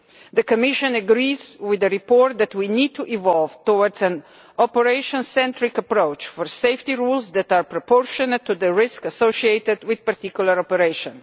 The Commission agrees with the report that we need to evolve towards an operation centric approach to safety rules that are proportionate to the risk associated with a particular operation.